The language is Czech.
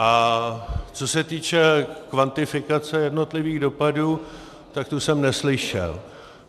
A co se týče kvantifikace jednotlivých dopadů, tak tu jsem neslyšel.